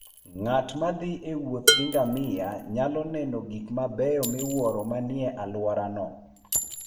Ng'at ma thi e wuoth gi ngamia nyalo neno gik mabeyo miwuoro manie alworano.